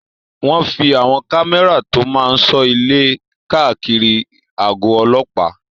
Wọ́n fí àwọn kámẹ́rà tó máa n sọ ilé káàkiri àgọ̀ ọlọ́pàá